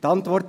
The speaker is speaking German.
hat?